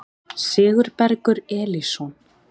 Sigurbergur Elísson